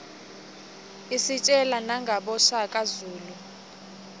isitjela nangaboshaka zulu